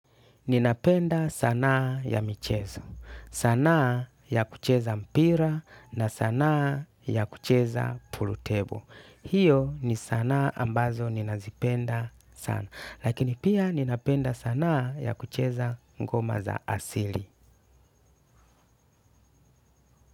Ninapenda sanaa ya michezo sanaa ya kucheza mpira na sanaa ya kucheza pool table. Hiyo ni sanaa ambazo ninazipenda sana, lakini pia ninapenda sanaa ya kucheza ngoma za asili.